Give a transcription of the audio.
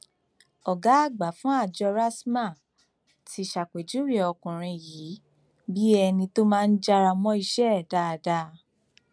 ọgá àgbà fún àjọ rstma ti ṣàpèjúwe ọkùnrin yìí bíi ẹni tó máa ń jára mọ iṣẹ ẹ dáadáa